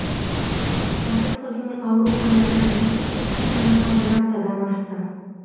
батыр қыздың ауруханада жұмыс істеп жатқанына бір аптадан асты